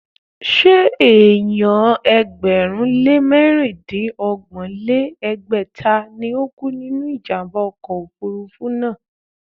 Ṣé èèyàn ẹgbẹ̀rún lé mẹ̀rindínọgbọ̀n lé ní ẹgbẹ́ta ni ó kú nínú ìjàmbá ọkọ̀ òfurufú náà?